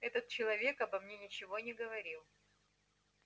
этот человек обо мне ничего не говорил